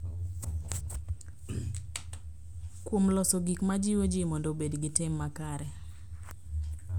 Kuom loso gik ma jiwo ji mondo obed gi tim makare.